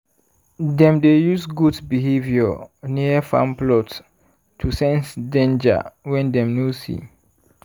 dem dey use goat behaviour near farm plots to sense danger wey dem no see.